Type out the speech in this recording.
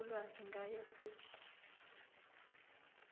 ulwazi ngaye siqu